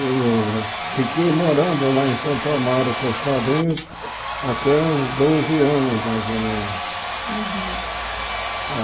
Eu fiquei morando lá em Santo Amaro com os padrinhos até uns doze anos, mais ou menos. Uhum Ah